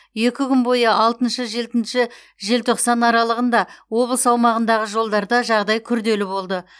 екі күн бойы алтыншы жетінші желтоқсан аралығында облыс аумағындағы жолдарда жағдай күрделі болды